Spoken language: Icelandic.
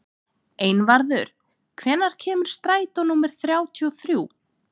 Einvarður, hvenær kemur strætó númer þrjátíu og þrjú?